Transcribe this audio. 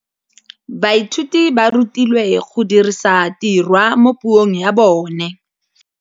Baithuti ba rutilwe go dirisa tirwa mo puong ya bone.